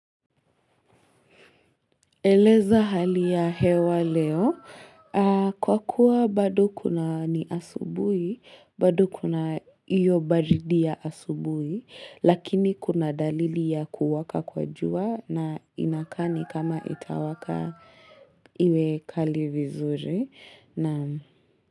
Eleza hali ya hewa leo. Kwa kuwa bado ni asubuhi, bado kuna hiyo baridi ya asubuhi, lakini kuna dalili ya kuwaka kwa jua na inakaa ni kama itawaka iwe kali vizuri.